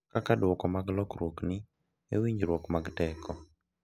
Kaka duoko mar lokruokni e winjruok mag teko.